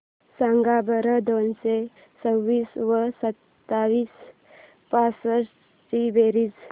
सांगा बरं दोनशे चोवीस व सातशे बासष्ट ची बेरीज